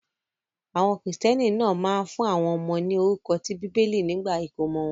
Àwọn Kìrìtẹ́ẹ́nì náà máa ń fún àwọn ọmọ ní orúkọ ti Bíbélì nígbà ìkómọ wọn.